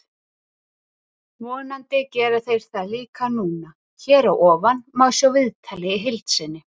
Vonandi gera þeir það líka núna. Hér að ofan má sjá viðtalið í heild sinni.